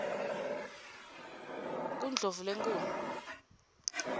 kundlovulenkulu